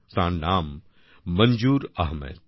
তাঁর নাম মনজুর আহমেদ